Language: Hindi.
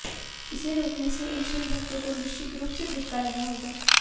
इसे रोकने से इन शिव भक्तों को निश्चित रूप से झटका लगा होगा